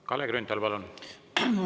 Kalle Grünthal, palun!